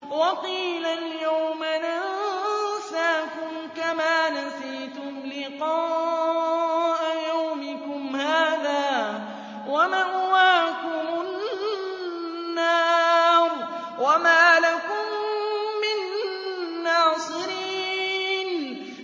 وَقِيلَ الْيَوْمَ نَنسَاكُمْ كَمَا نَسِيتُمْ لِقَاءَ يَوْمِكُمْ هَٰذَا وَمَأْوَاكُمُ النَّارُ وَمَا لَكُم مِّن نَّاصِرِينَ